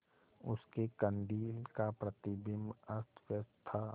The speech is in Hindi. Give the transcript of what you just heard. उसके कंदील का प्रतिबिंब अस्तव्यस्त था